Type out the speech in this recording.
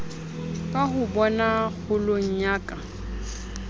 ka hobona kgolong ya ka